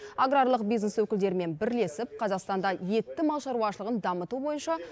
аграрлық бизнес өкілдерімен бірлесіп қазақстанда етті мал шаруашылығын дамыту бойынша